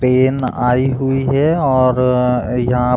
crane आई हुई है और यहाँ --